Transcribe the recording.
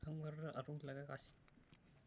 Kanguarrita atum likae kasi.